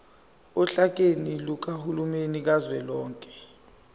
ohlakeni lukahulumeni kazwelonke